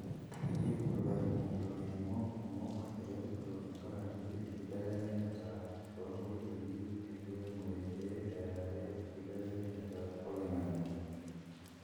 keyieu ilaremok kumok eretoto tenkaraki enkibelekenyata oinkotoi enkiremore pe earare enkibelekenyata oloingange.